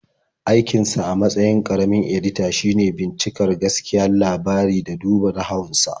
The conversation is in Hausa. Aikinsa a matsayin ƙaramin-edita shine bincika gaskiyar labari da duba nahawun sa.